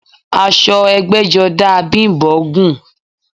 Aṣọ ẹgbẹ́jọdá a Bím̀bọ́ gùn